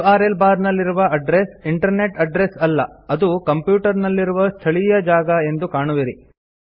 URL bar ನಲ್ಲಿರುವ address internet address ಅಲ್ಲ ಅದು ಕಂಪ್ಯೂಟರ್ ನಲ್ಲಿರುವ ಸ್ಥಳೀಯ ಜಾಗ ಎಂದು ಕಾಣುವಿರಿ